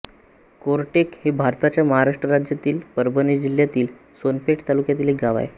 कोरटेक हे भारताच्या महाराष्ट्र राज्यातील परभणी जिल्ह्यातील सोनपेठ तालुक्यातील एक गाव आहे